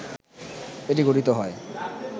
এটি গঠিত হয়